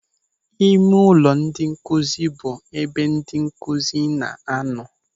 Ịmeụlọ ndị nkụzi bụ ebe ndị nkụzi na-anọ.